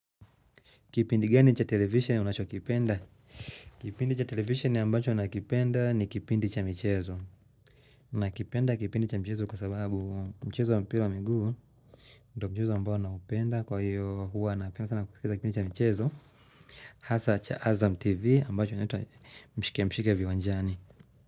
Kipindi, gani cha televisheni unachokipenda. Kipindi cha televishen ambacho nakipenda ni kipindi cha michezo. Nakipenda kipindi cha michezo kwa sababu mchezo wa mpira wa miguu, ndo mchezo ambao naupenda kwa hiyo huwa napenda sana kukikiza kipindi cha mchezo. Hasa cha Azam TV ambacho inanitwa mshike mshike viwanjani.